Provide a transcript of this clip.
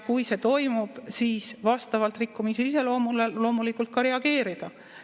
Kui see toimub, siis vastavalt rikkumise iseloomule loomulikult tuleb ka reageerida.